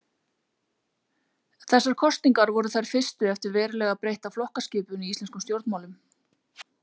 Þessar kosningar voru þær fyrstu eftir verulega breytta flokkaskipun í íslenskum stjórnmálum.